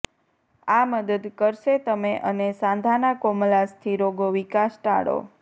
આ મદદ કરશે તમે અને સાંધાના કોમલાસ્થિ રોગો વિકાસ ટાળો